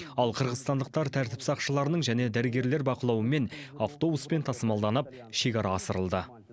ал қырғызстандықтар тәртіп сақшыларының және дәрігерлер бақылауымен автобуспен тасымалданып шекара асырылды